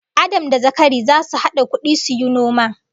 Adam da Zakaria zasu hada kudi suyi noma